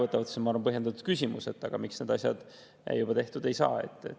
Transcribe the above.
See on, ma arvan, põhjendatud küsimus, et aga miks need asjad juba tehtud ei saa.